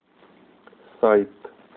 сайт